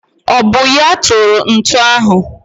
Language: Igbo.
Ọ bụ ya kụrụ ntu ahụ?